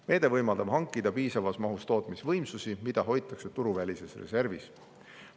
Meede võimaldab hankida piisavas mahus tootmisvõimsusi, mida hoitakse turuvälises reservis.